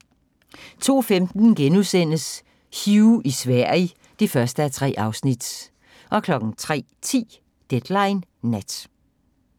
02:15: Hugh i Sverige (1:3)* 03:10: Deadline Nat